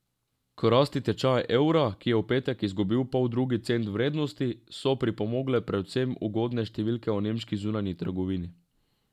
K rasti tečaja evra, ki je v petek izgubil poldrugi cent vrednosti, so pripomogle predvsem ugodne številke o nemški zunanji trgovini.